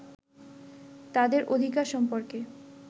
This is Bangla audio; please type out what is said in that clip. তাদের অধিকার সম্পর্কে